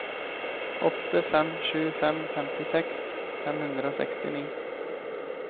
åtte fem sju fem femtiseks fem hundre og sekstini